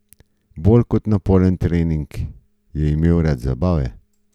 Bolj kot naporen trening je imel rad zabave.